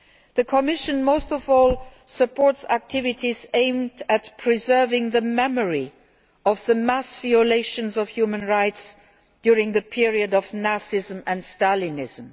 The Commission most of all supports activities aimed at preserving the memory of the mass violations of human rights during the period of Nazism and Stalinism.